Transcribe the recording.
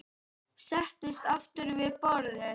Settist aftur við borðið.